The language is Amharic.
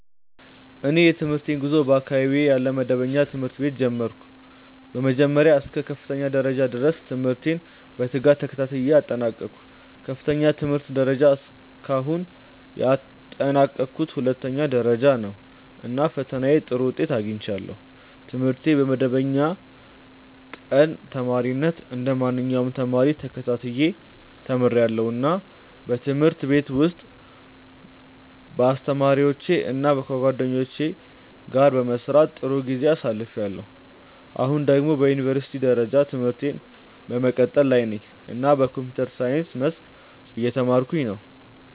እኔ የትምህርቴን ጉዞ በአካባቢዬ ያለ መደበኛ ትምህርት ቤት ጀመርሁ። ከመጀመሪያ እስከ ከፍተኛ ደረጃ ድረስ ትምህርቴን በትጋት ተከታትዬ አጠናቀቅሁ። ከፍተኛው የትምህርት ደረጃ እስካሁን ያጠናቀቅሁት ሁለተኛ ደረጃ ነው፣ እና በፈተናዬ ጥሩ ውጤት አግኝቻለሁ። ትምህርቴን በመደበኛ ቀን ተማሪነት እንደ ማንኛውም ተማሪ ተከታትዬ ተምርያለሁ፣ እና በትምህርት ቤት ውስጥ ከአስተማሪዎቼ እና ከጓደኞቼ ጋር በመስራት ጥሩ ጊዜ አሳልፍያለሁ። አሁን ደግሞ በዩኒቨርሲቲ ደረጃ ትምህርቴን በመቀጠል ላይ ነኝ እና በኮምፒውተር ሳይንስ መስክ እየተማርኩ ነው።